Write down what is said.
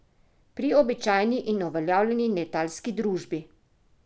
Pri običajni in uveljavljeni letalski družbi!